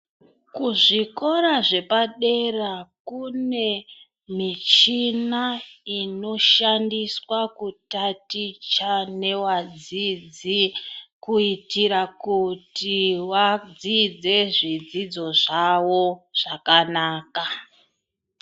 Kuzvikora zvepadera kune michini inoshandiswa kutaticha ngevadzidzi kuitire kuti vafunde zvidzidzo zvavo zvakanaka.